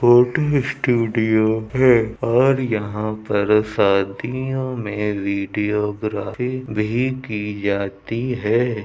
Photo studio है और यहाँ पर शादियों में वीडियोग्राफी भी की जाती है।